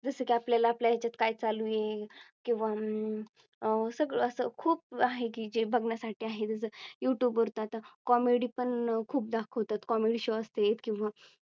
जसे की आपल्याला आपल्या ह्याच्यात काय चालू आहे किंवा अं सगळं असं खूप आहे की जे बघण्यासाठी आहेत. जस Youtube वर तो आता Comedy पण खूप दाखवतात, Comedy show असतेत किंवा